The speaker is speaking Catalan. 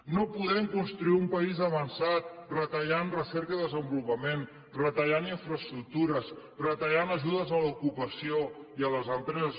no podem construir un país avançat retallant recerca i desenvolupament retallant infraestructures retallant ajudes a l’ocupació i a les empreses